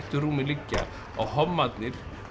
rúmi liggja að hommarnir